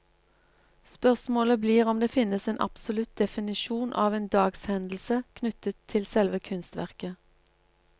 Spørsmålet blir om det finnes en absolutt definisjon av en dagshendelse knyttet til selve kunstverket.